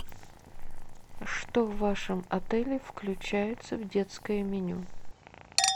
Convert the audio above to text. что в вашем отеле включается в детское меню